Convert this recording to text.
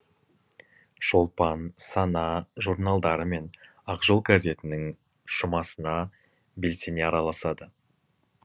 шолпан сана журналдары мен ақжол газетінің жұмасына белсене араласады